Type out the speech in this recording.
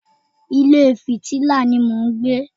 Ilé filati ni mò ń gbé